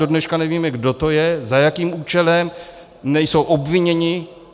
Do dneška nevíme, kdo to je, za jakým účelem - nejsou obviněni.